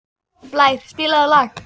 Blær, spilaðu lag.